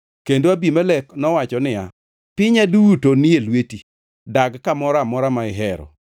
Kendo Abimelek nowacho niya, “Pinya duto ni e lweti; dag kamoro amora ma ihero.”